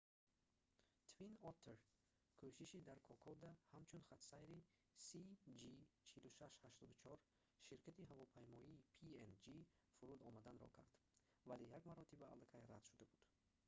twin otter кӯшиши дар кокода ҳамчун хатсайри cg4684 ширкати ҳавопаймоии png фуруд омаданро кард вале як маротиба алакай рад шуда буд